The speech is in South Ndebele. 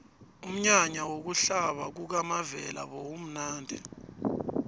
umnyanya wokuhlaba kukamavela bewumnadi